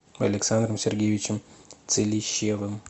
александром сергеевичем целищевым